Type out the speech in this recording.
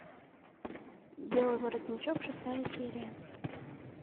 белый воротничок шестая серия